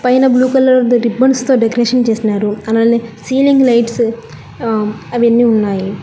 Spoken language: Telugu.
పైన బ్లూ కలర్ రిబ్బన్స్ తో డెకరేషన్ చేసినారు అలానే సీలింగ్ లైట్స్ ఆ అవన్నీ ఉన్నాయి.